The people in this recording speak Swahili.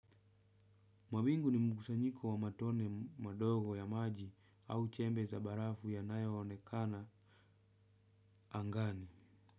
Mawingu ni mkusanyiko wa matone madogo ya maji au chembe za barafu yanayoonekana angani.